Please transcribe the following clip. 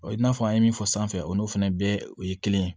i n'a fɔ an ye min fɔ sanfɛ o n'o fana bɛɛ o ye kelen ye